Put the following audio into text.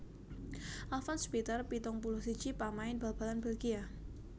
Alfons Peeters pitung puluh siji pamain bal balan Bèlgia